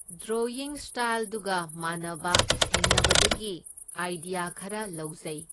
Drawing ꯁ꯭ꯇꯥꯏꯜꯗꯨꯒ ꯃꯥꯟꯅꯕ ꯊꯦꯡꯅꯕꯗꯒꯤ ꯑꯥꯏꯗꯤꯌꯥ ꯈꯔ ꯂꯧꯖꯩ꯫